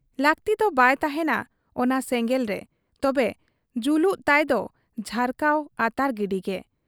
ᱞᱟᱹᱠᱛᱤᱫᱚ ᱵᱟᱭ ᱛᱟᱦᱮᱸᱱᱟ ᱚᱱᱟ ᱥᱮᱸᱜᱮᱞ ᱨᱮ ᱛᱚᱵᱮ ᱡᱩᱞᱩᱜ ᱛᱟᱭ ᱫᱚ ᱡᱷᱟᱨᱠᱟᱣ, ᱟᱛᱟᱨ ᱜᱤᱰᱤᱜᱮ ᱾